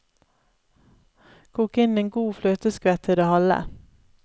Kok inn en god fløteskvett til det halve.